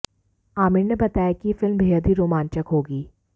आमिर ने बताया कि यह फिल्म बेहद ही रोमांचक होगी